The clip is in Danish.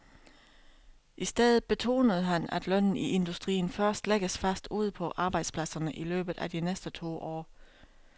I stedet betonede han, at lønnen i industrien først lægges fast ude på arbejdspladserne i løbet af de næste to år.